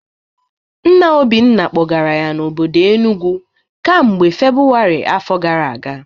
Nna Obinna kpọgara ya n'obodo Enugwu kamgbe Febụwarị afọ gara aga